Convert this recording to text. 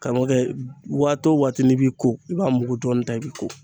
Karamɔgɔ kɛ waati o waati n'i b'i ko i b'a mugu dɔɔnin ta i bɛ ko